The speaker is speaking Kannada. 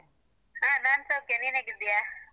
ಹಾ. ನಾನ್ ಸೌಖ್ಯ. ನೀನ್ ಹೇಗಿದ್ದೀಯಾ?